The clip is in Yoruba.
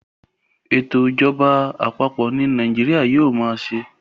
eto ìjọba àpapọ̀ ní Nàìjíríà yíò má ṣe